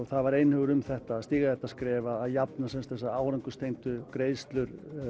það var einhugur um þetta að stíga þetta skref að jafna þessar árangurstengdu greiðslur